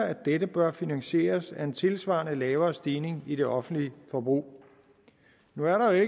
at dette bør finansieres af en tilsvarende lavere stigning i det offentlige forbrug nu er der jo